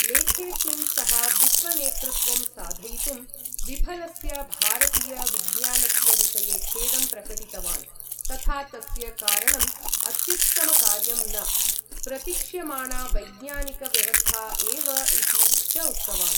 लेखेस्मिन् सः, विश्वनेतृत्त्वं साधयितुं विफलस्य भारतीय विज्ञानस्य विषये खेदं प्रकटितवान्, तथा तस्य कारणं अत्युत्तमकार्यं न प्रतिक्ष्यमाणा वैज्ञानिक व्यवस्था एव इति च उक्तवान्।